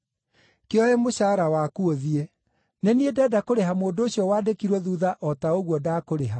Kĩoe mũcaara waku ũthiĩ. Nĩ niĩ ndenda kũrĩha mũndũ ũcio wandĩkirwo thuutha o ta ũguo ndakũrĩha.